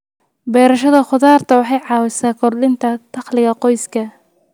Beerashada khudaarta waxay caawisaa kordhinta dakhliga qoyska.